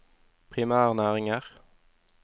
primærnæringer